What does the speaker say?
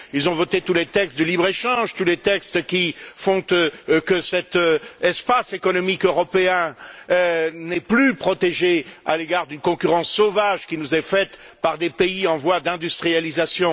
Ils ont voté tous les textes de libre échange, tous les textes qui font que cet espace économique européen n'est plus protégé à l'égard d'une concurrence sauvage qui nous est faite par des pays en voie d'industrialisation.